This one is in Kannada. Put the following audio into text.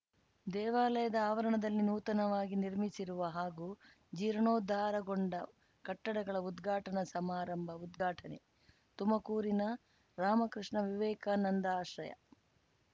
ದೇವಾಲಯದ ಆವರಣದಲ್ಲಿ ನೂತನವಾಗಿ ನಿರ್ಮಿಸಿರುವ ಹಾಗೂ ಜೀರ್ಣೋದ್ಧಾರಗೊಂಡ ಕಟ್ಟಡಗಳ ಉದ್ಘಾಟನಾ ಸಮಾರಂಭ ಉದ್ಘಾಟನೆ ತುಮಕೂರಿನ ರಾಮಕೃಷ್ಣ ವಿವೇಕಾನಂದ ಆಶ್ರಯ